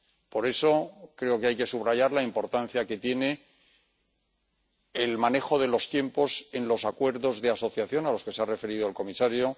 Por eso, creo que hay que subrayar la importancia que tiene el manejo de los tiempos en los acuerdos de asociación a los que se ha referido el comisario